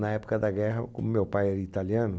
Na época da guerra, o meu pai era italiano.